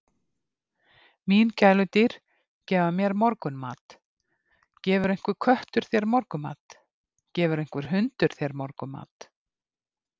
Mín gæludýr gefa mér morgunmat, gefur einhver köttur þér morgunmat, gefur einhver hundur þér morgunmat?